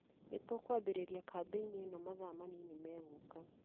Nĩ tũkũambĩrĩria kambĩini ĩno mathaa manini megũka.